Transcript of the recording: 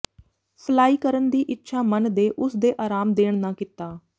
fly ਕਰਨ ਦੀ ਇੱਛਾ ਮਨ ਦੇ ਉਸ ਦੇ ਆਰਾਮ ਦੇਣ ਨਾ ਕੀਤਾ